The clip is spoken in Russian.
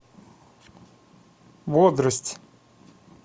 бодрость